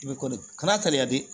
I bɛ ko de kan'a kari ladi